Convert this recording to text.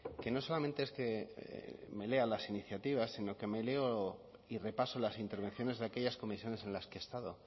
que no solamente es que me lea las iniciativas sino que me leo y repaso las intervenciones de aquellas comisiones en las que he estado